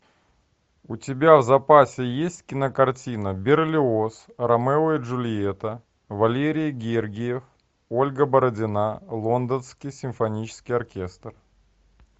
у тебя в запасе есть кинокартина берлиоз ромео и джульетта валерий гергиев ольга бородина лондонский симфонический оркестр